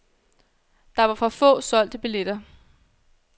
Der var for få solgte billetter.